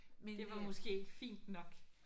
Men det